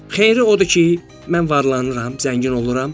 Xeyri odur ki, mən varlanıram, zəngin oluram.